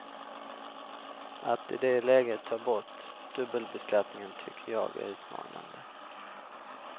Att i det läget ta bort dubbelbeskattningen tycker jag är utmanande.